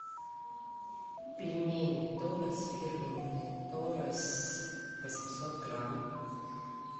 пельмени торес фирменные торес восемьсот грамм